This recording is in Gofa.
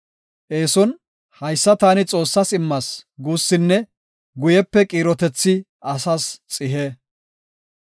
Eeson, “Haysa taani Xoossas immas” guussinne guyepe qiirotethi asas xihe.